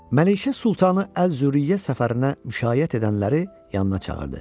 Məlikə Sultanı Əl-Züriyə səfərinə müşayiət edənləri yanına çağırdı.